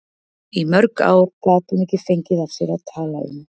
Í mörg ár gat hún ekki fengið af sér að tala um